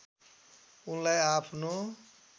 उनलाई आफ्नो